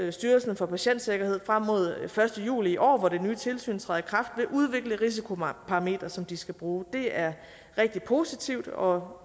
at styrelsen for patientsikkerhed frem mod den første juli i år hvor det nye tilsyn træder i kraft vil udvikle risikoparametre som de skal bruge det er rigtig positivt og